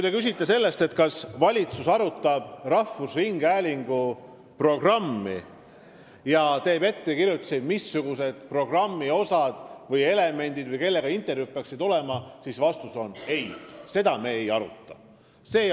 Te küsisite, kas valitsus arutab rahvusringhäälingu programmi ja teeb ettekirjutusi, missugused peaksid olema programmi osad või elemendid või kellega peaks tegema intervjuusid, siis vastus on ei – seda me ei aruta.